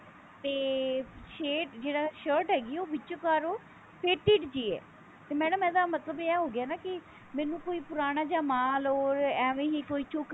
ਤੇ shade ਜਿਹੜਾ shirt ਹੈਗੀ ਹੈ ਉਹ ਵਿਚਕਾਰੋ faded ਜੀ ਹੈ ਤੇ madam ਇਹਦਾ ਮਤਲਬ ਇਹ ਹੋ ਗਿਆ ਕਿ ਮੈਨੂੰ ਕੋਈ ਪੁਰਾਣਾ ਜਿਹਾ ਮਾਲ or ਐਵੇਂ ਹੀ ਕੋਈ ਚੁੱਕ ਕੇ